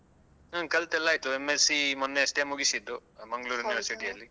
ಹ್ಮ್ ಕಲ್ತೆಲ್ಲ ಆಯ್ತು M.Sc ಮೊನ್ನೆಯಷ್ಟೇ ಮುಗಿಸಿದ್ದು University ಯಲ್ಲಿ.